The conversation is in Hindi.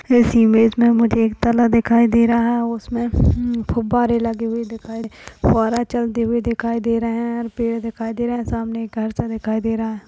इस इमेज मे मुझे एक तालाब दिखाई दे रहा है उसमे हम्म फ़ुब्बारे लगे हुए दिखाई दे फवारा चलते हुए दिखाई दे रहे है और पेड़ दिखाई दे रहे है सामने एक घरसा दिखाई दे रहा है।